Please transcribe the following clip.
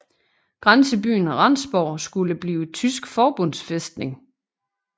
Grænsebyen Rendsborg skulle blive tysk forbundsfæstning